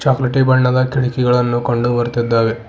ಚಾಕ್ಲಾಟಿ ಬಣ್ಣದ ಕಿಟಕಿಗಳನ್ನು ಕಂಡು ಬರ್ತಿದ್ದಾವೆ.